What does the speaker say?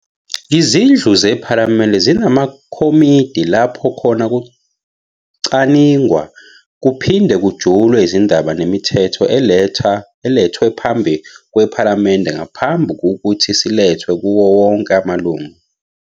Izindlu zePhalamende zinamakhomiti lapho khona kucaningwa kuphinde kujulwe izindaba nemithetho elethwe phambi kwePhalamende ngaphambu ukuthi silethwe kuwonke amalunga.